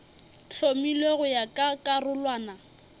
hlomilwego go ya ka karolwana